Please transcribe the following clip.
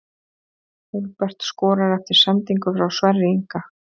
Hólmbert skorar eftir sendingu frá Sverri Inga!